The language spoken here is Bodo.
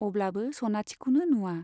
अब्लाबो सनाथिखौनो नुवा।